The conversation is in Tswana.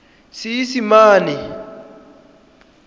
seesimane